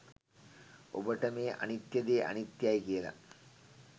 ඔබට මේ අනිත්‍ය දේ අනිත්‍යයයි කියල